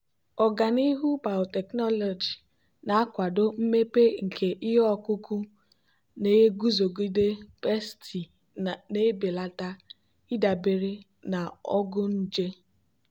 ọganihu biotechnology na-akwado mmepe nke ihe ọkụkụ na-eguzogide pesti na-ebelata ịdabere na ọgwụ nje.